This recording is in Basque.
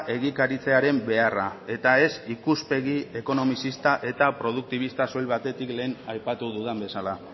egikaritzearen beharra eta ez ikuspegi ekonomizista eta produktibista soil batetik lehen aipatu dudan bezala